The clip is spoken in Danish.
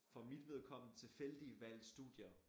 For mit vedkommende tilfældige valg studier